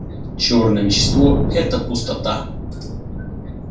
чёрное вещество это пустота